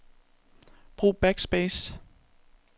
Brug backspace.